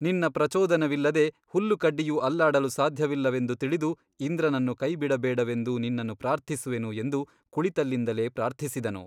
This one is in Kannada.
ನಿನ್ನ ಪ್ರಚೋದನವಿಲ್ಲದೆ ಹುಲ್ಲುಕಡ್ಡಿಯೂ ಅಲ್ಲಾಡಲು ಸಾದ್ಯವಿಲ್ಲವೆಂದು ತಿಳಿದು ಇಂದ್ರನನ್ನು ಕೈಬಿಡಬೇಡವೆಂದು ನಿನ್ನನ್ನು ಪ್ರಾರ್ಥಿಸುವೆನು ಎಂದು ಕುಳಿತಲ್ಲಿಂದಲೇ ಪ್ರಾರ್ಥಿಸಿದನು.